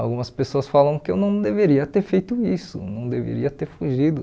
Algumas pessoas falam que eu não deveria ter feito isso, não deveria ter fugido.